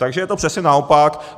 Takže je to přesně naopak.